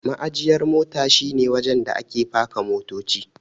Ma'ajiyar mota shi ne wajen da ake paka motoci.